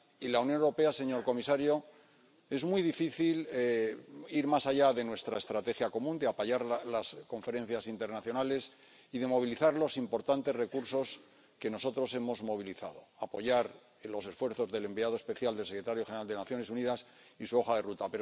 Y en cuanto a la Unión Europea, señor comisario, es muy difícil ir más allá de nuestra estrategia común, de apoyar las conferencias internacionales y de movilizar los importantes recursos que nosotros hemos movilizado, de apoyar los esfuerzos del enviado especial del secretario general de las Naciones Unidas y su hoja de ruta.